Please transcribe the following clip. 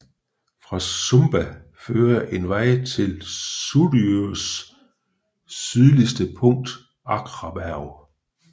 Fra Sumba fører en vej til Suðuroys sydligste punkt Akraberg